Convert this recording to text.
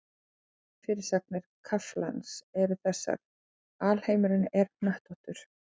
Millifyrirsagnir kaflans eru þessar: Alheimurinn er hnöttóttur.